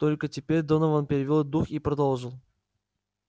только теперь донован перевёл дух и продолжил